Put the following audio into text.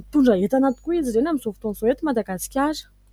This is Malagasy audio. mitondra entana tokoa izy ireny amin'izao fotoana izao eto Madagasikara.